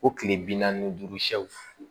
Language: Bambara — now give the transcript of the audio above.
Ko kile bi naani ni duuru sɛw